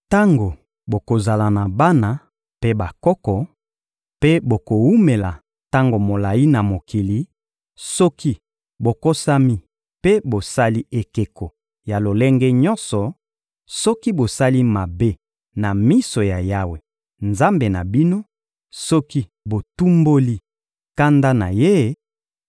Tango bokozala na bana mpe bakoko, mpe bokowumela tango molayi na mokili, soki bokosami mpe bosali ekeko ya lolenge nyonso, soki bosali mabe na miso ya Yawe, Nzambe na bino, soki botumboli kanda na Ye,